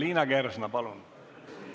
Liina Kersna, palun!